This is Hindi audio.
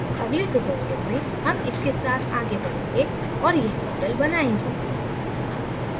अगले tutorial में हम इसके साथ आगे बढ़ेंगें और यह model बनाएंगे